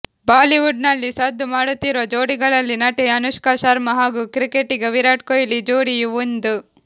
Bollywood ನಲ್ಲಿ ಸದ್ದು ಮಾಡುತ್ತಿರುವ ಜೋಡಿಗಳಲ್ಲಿ ನಟಿ ಅನುಷ್ಕಾ ಶರ್ಮಾ ಹಾಗೂ ಕ್ರಿಕೆಟಿಗ ವಿರಾಟ್ ಕೊಹ್ಲಿ ಜೋಡಿಯೂ ಒಂದು